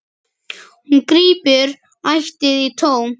Hún grípur ætíð í tómt.